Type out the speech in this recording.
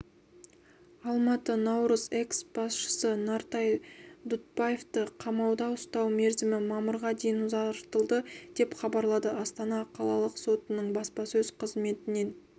алматы наурыз экс-басшысы нартай дұтбаевты қамауда ұстау мерзімі мамырға дейін ұзартылды деп хабарлады астана қалалық сотының баспасөз қызметінен